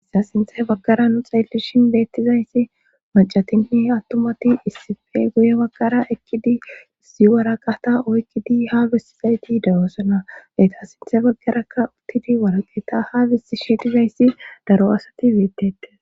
issa sinthe baggara nu xeellishin beettizayssi macatinni attomati issife guye baggara ekkidi issi waraqata o ekkidi habestizayti dayoosona leyta sinth baggarakka uttidi waraqeeta habisti sheedizayssi daro asati beettete